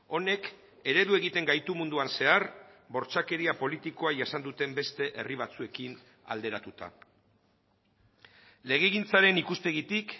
honek eredu egiten gaitu munduan zehar bortxakeria politikoa jasan duten beste herri batzuekin alderatuta legegintzaren ikuspegitik